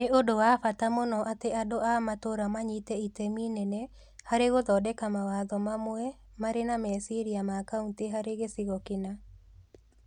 Nĩ ũndũ wa bata mũno atĩ andũ a matũũra manyite itemi inene harĩ gũthondeka mawatho mamwe marĩ na meciria ma kaunti harĩ gĩcigo kĩna.